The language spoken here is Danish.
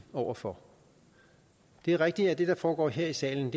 over for det er rigtigt at det der foregår her i salen